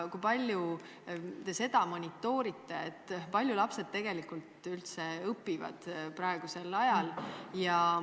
Kui palju te monitoorite seda, kui palju lapsed tegelikult üldse praegusel ajal õpivad?